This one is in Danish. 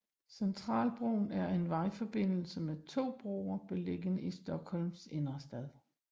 Centralbron er en vejforbindelse med to broer beliggende i Stockholms innerstad